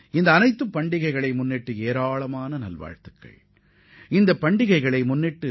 இந்தப் பண்டிகைகளைக் கொண்டாடும் இந்திய மக்கள் அனைவருக்கும் எனது வாழ்த்துக்களை உரித்தாக்குகிறேன்